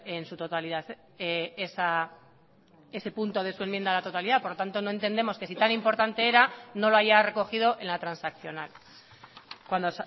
en su totalidad ese punto de su enmienda a la totalidad por lo tanto no entendemos que si tan importante era no lo haya recogido en la transaccional cuando